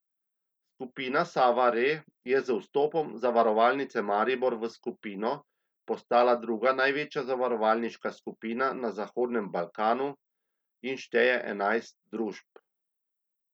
Skupina Sava Re je z vstopom Zavarovalnice Maribor v skupino postala druga največja zavarovalniška skupina na zahodnem Balkanu in šteje enajst družb.